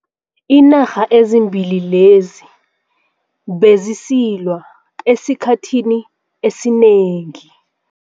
Iinarha ezimbili lezi bezisilwa esikhathini esinengi.